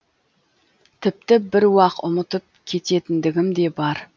тіпті бір уақ ұмытып кететіндігім де бар